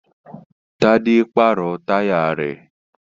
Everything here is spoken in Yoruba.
Tádé pàrọ̀ táyà rẹ̀